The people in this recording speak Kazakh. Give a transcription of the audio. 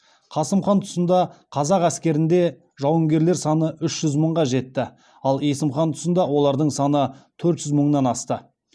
қасым хан тұсында қазақ әскерінде жауынгерлер саны үш жүз мыңға жетті ал есім хан тұсында олардың саны төрт жүз мыңнан асты